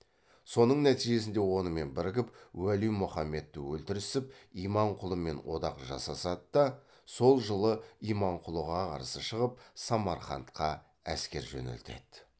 соның нәтижесінде онымен бірігіп уәли мұхаммедті өлтірісіп иманқұлымен одақ жасасады да сол жылы иманқұлыға қарсы шығып самарқантқа әскер жөнелтеді